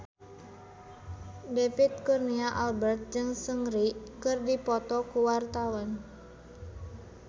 David Kurnia Albert jeung Seungri keur dipoto ku wartawan